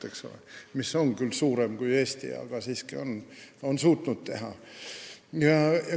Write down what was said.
See on küll suurem kui Eesti, aga on siiski suutnud seda teha.